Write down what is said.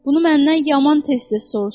Bunu məndən yaman tez-tez soruşurlar.